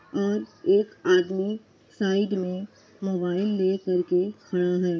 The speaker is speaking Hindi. और एक आदमी साइड में मोबाइल ले कर के खड़ा है।